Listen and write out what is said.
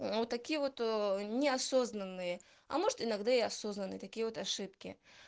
ну вот такие вот неосознанные а может иногда и осознанные такие вот ошибки